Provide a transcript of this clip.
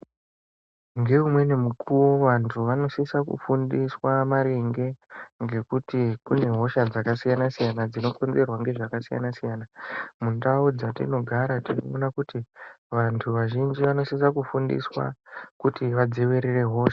Ngeumweni mukuwo vanthu vanosisa kufundiswa maringe ngekuti kunehosha dzakasiyana siyana dzinokonzerwa ngezvakasiyana siyana mundau dzatinogara tinofana kuti vanthu vazhinji vanthu vazhinji vanosisa kufundiswa kuti vadzivirire hosha.